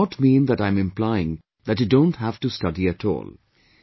But that does not mean that I'm implying that you don't have to study at all